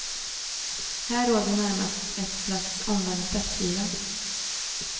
Här råder närmast ett slags omvänd festyra.